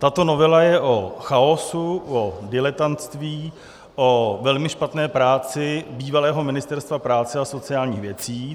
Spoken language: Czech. Tato novela je o chaosu, o diletantství, o velmi špatné práci bývalého Ministerstva práce a sociálních věcí.